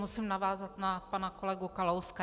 Musím navázat na pana kolegu Kalouska.